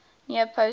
near post header